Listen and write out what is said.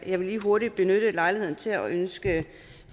jeg vil lige hurtigt benytte lejligheden til at ønske